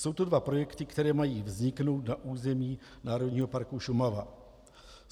Jsou to dva projekty, které mají vzniknout na území Národního parku Šumava.